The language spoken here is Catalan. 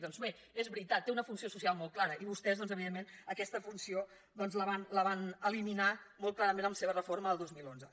doncs bé és veritat té una funció social molt clara i vostès doncs evidentment aquesta funció la van eliminar molt clarament amb la seva reforma el dos mil onze